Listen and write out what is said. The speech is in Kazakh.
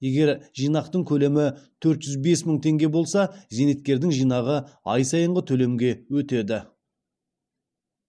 егер жинақтың көлемі төрт жүз бес мың теңге болса зейнеткердің жинағы ай сайынғы төлемге өтеді